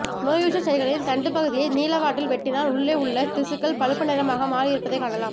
நோயுற்ற செடிகளின் தண்டுப் பகுதியை நீளவாட்டில் வெட்டினால் உள்ளே உள்ள திசுக்கள் பழுப்பு நிறமாக மாறியிருப்பதை காணலாம்